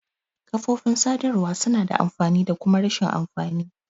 Kafofin sadarwa suna da amfani da kuma rashin amfani.